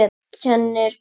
Kennir þú?